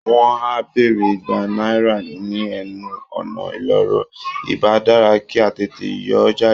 Wọ́n á béèrè Igba náírà ní ẹnu ọ̀nà ìloro, ìbá dára kí á tètè yọ ọ́ jáde